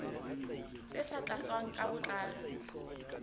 tse sa tlatswang ka botlalo